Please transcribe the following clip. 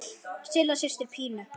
Silla systir Pínu.